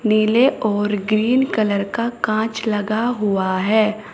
नीले और green colour का कांच लगा हुआ है।